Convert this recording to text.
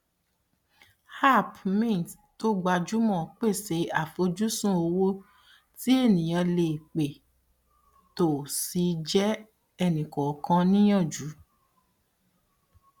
app mint tó gbajúmọ pèsè àfojúsùn owó tí ènìyàn lè pé tó sì jẹ ẹnikọọkan níyànjú